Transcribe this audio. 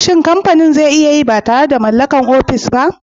Shin kamfani zai iya yin ba tare da mallakar ofis ba?